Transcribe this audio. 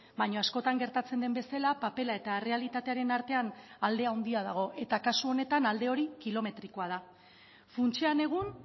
baina askotan gertatzen den bezala papera eta errealitatearen artean alde handia dago eta kasu honetan alde hori kilometrikoa da funtsean egun